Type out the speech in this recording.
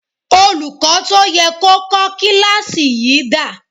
Olùkọ́ tó yẹ kó kọ́ kíláàsì yìí dà?